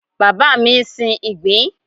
Bàbá mi ń sin ìgbín.